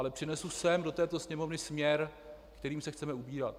Ale přinesu sem do této Sněmovny směr, kterým se chceme ubírat.